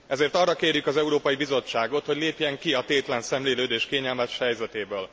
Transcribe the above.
Ezért arra kérjük az Európai Bizottságot, hogy lépjen ki a tétlen szemlélődés kényelmes helyzetéből.